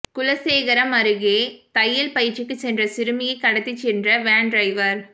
குலசேகரம் அருகே தையல் பயிற்சிக்கு சென்ற சிறுமியை கடத்திச் சென்ற வேன் டிரைவர்